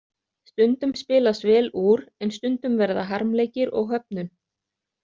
Stundum spilast vel úr, en stundum verða harmleikir og höfnun.